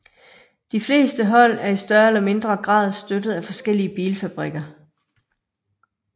De fleste hold er i større eller mindre grad støttet af forskellige bilfabrikker